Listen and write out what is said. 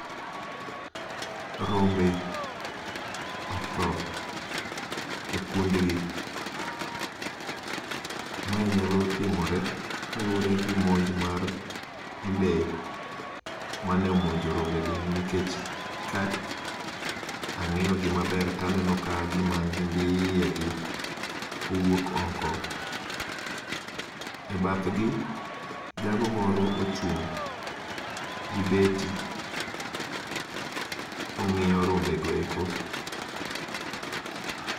Rombe motho e kundgi, mae nyalo timore kalure gi monj mar lee, mane omonjo rombegi nikech ka ang'iyogi maber taneno ka gima nyimbi iyegi owuok oko. E bathgi, jago moro ochung' gi beti ,ong'iyo rombego eko.